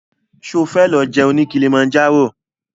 Ṣo fẹ́ lọ jẹun ní Kilimanjaro?